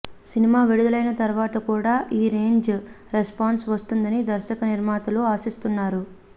cinema విడుదలైన తరువాత కూడా ఈ రేంజ్ రెస్పాన్స్ వస్తుందని దర్శకనిర్మాతలు ఆశిస్తున్నారు